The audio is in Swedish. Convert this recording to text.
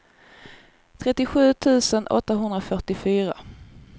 trettiosju tusen åttahundrafyrtiofyra